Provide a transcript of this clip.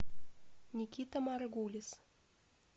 никита маргулис